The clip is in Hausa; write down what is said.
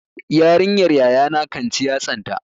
Yarinyar yayana kan ci yatsanta.